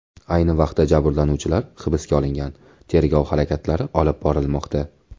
Ayni vaqtda ayblanuvchilar hibsga olingan, tergov harakatlari olib borilmoqda.